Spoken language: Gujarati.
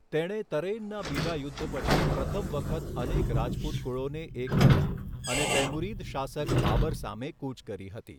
તેણે તરૈનના બીજા યુદ્ધ પછી પ્રથમ વખત અનેક રાજપૂત કુળોને એક કર્યા અને તૈમુરીદ શાસક બાબર સામે કૂચ કરી હતી.